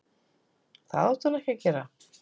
Það átti hún ekki að gera.